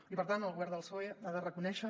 i per tant el govern del psoe ha de reconèixer